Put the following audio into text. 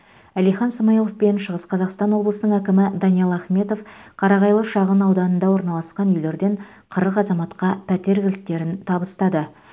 әлихан смайылов пен шығыс қазақстан облысының әкімі даниал ахметов қарағайлы шағын ауданында орналасқан үйлерден қырық азаматқа пәтер кілттерін табыстады